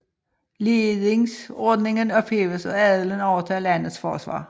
Ledingsordningen ophæves og adelen overtager landets forsvar